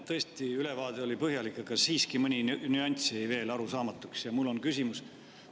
Tõesti, ülevaade oli põhjalik, aga siiski mõni nüanss jäi veel arusaamatuks ja mul on küsimus.